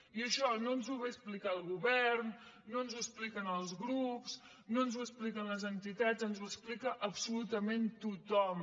i això no ens ho ve a explicar el govern no ens ho expliquen els grups no ens ho expliquen les entitats ens ho explica absolutament tothom